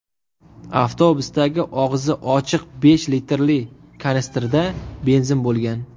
Avtobusdagi og‘zi ochiq besh litrli kanistrda benzin bo‘lgan.